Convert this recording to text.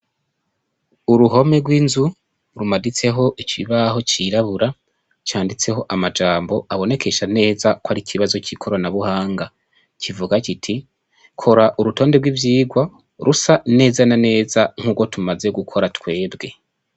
Uruhome rw'inzu rumaditseko ikibaho cirabura canditseko amajambo abonekesha neza yuko ari ikibazo c'ikoranabuhanga. Kivuga kiti kora urutonde rw'ivyigwa rusa neza na neza n'urwo tumaze gukora twebwe.